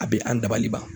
A bɛ an dabali ban